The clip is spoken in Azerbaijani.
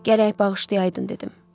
Gərək bağışlayaydın, dedim.